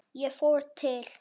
Ég fór til